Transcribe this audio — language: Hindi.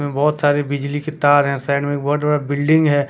बहुत सारे बिजली के तार है साइड में बहुत सारे बिल्डिंग हैं।